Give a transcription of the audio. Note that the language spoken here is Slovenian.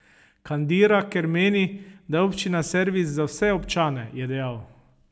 Kandira, ker meni, da je občina servis za vse občane, je dejal.